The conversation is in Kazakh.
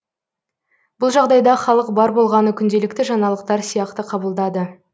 бұл жағдайда халық бар болғаны күнделікті жаңалықтар сияқты қабылдады